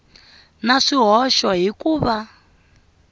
na swihoxo hi ku va